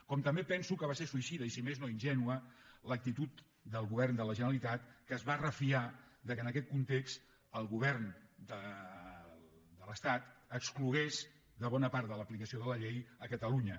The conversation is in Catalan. com també penso que va ser suïcida i si més no ingènua l’actitud del govern de la generalitat que es va refiar que en aquest context el govern de l’estat exclogués de bona part de l’aplicació de la llei catalunya